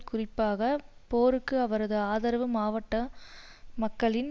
குறிப்பாக போருக்கு அவரது ஆதரவு மாவட்ட மக்களின்